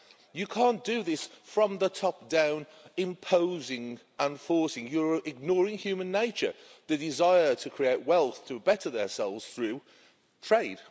You can't do this from the top down, imposing and forcing. You're ignoring human nature the desire to create wealth to better their souls through trade.